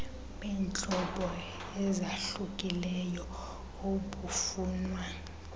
beentlobo ezahlukileyo obufunwa